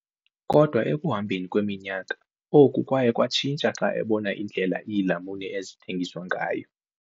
Kodwa ekuhambeni kweminyaka, oku kwaye kwatshintsha xa ebona indlela iilamuni ezithengwa ngayo.